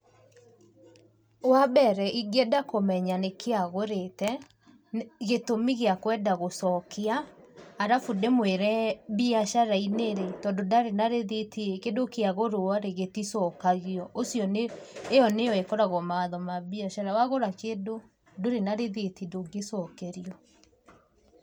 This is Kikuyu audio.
Wambere ingĩenda kũmenya nĩkĩĩ agũrĩte, gĩtũmi gĩakwenda gũcokia, arabu ndĩmwĩre mbiacara-inĩ rĩ, tondũ ndarĩ na rĩthitiĩ, kĩndũ kĩagũrwo rĩ, gĩticokagio, ũcio nĩ, ĩyo nĩyo ĩkoragwo mawatho ma mbiacara, wagũra kĩndũ, ndũrĩ na rĩthiti, ndũngĩcokerio.